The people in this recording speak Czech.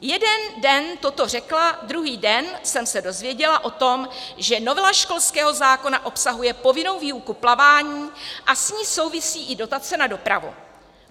Jeden den toto řekla, druhý den jsem se dozvěděla o tom, že novela školského zákona obsahuje povinnou výuku plavání a s ní souvisí i dotace na dopravu.